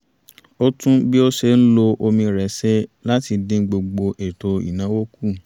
ó tún bí ó ṣe ń lo omi rẹ̀ ṣe láti dín gbogbo ètò ìnáwó kù